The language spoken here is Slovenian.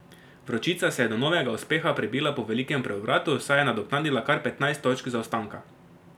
Vročica se je do novega uspeha prebila po velikem preobratu, saj je nadoknadila kar petnajst točk zaostanka.